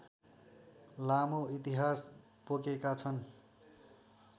लामो इतिहास बोकेका छन्